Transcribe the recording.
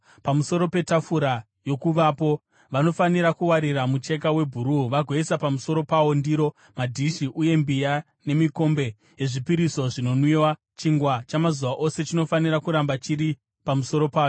“Pamusoro petafura yoKuvapo, vanofanira kuwarira mucheka webhuruu vagoisa pamusoro pawo ndiro, madhishi uye mbiya, nemikombe yezvipiriso zvinonwiwa; chingwa chamazuva ose chinofanira kuramba chiri pamusoro payo.